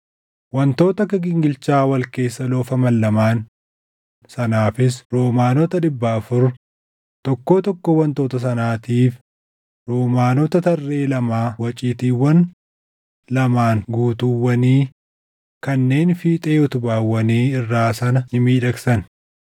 wantoota akka gingilchaa wal keessa loofaman lamaan sanaafis roomaanota dhibba afur, tokkoo tokkoo wantoota sanaatiif roomaanota tarree lamaa waciitiiwwan lamaan guutuuwwanii kanneen fiixee utubaawwanii irraa sana ni miidhagsan;